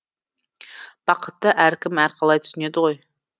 бақытты әркім әрқалай түсінеді ғой